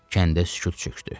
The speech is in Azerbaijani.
Kəndə sükut çökdü.